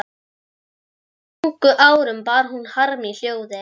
Jafnvel á þeim ungu árum bar hún harm í hljóði.